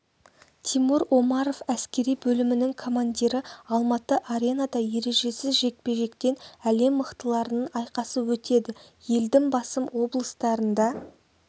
тимур омаров әскери бөлімінің командирі алматы аренада ережесіз жекпе-жектен әлем мықтыларының айқасы өтеді елдің басым облыстарында